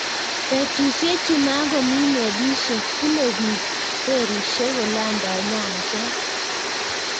Betusiechu makomi melisiek bune biik ferishiek kolandai nyanjet